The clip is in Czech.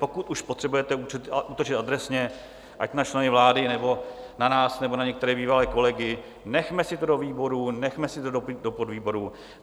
Pokud už potřebujete útočit adresně, ať na členy vlády, nebo na nás, nebo na některé bývalé kolegy, nechme si to do výborů, nechme si to do podvýborů.